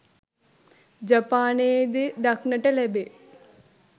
ජපානයේ ද දක්නට ලැබේ.